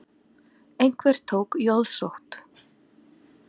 Einhver tók jóðsótt.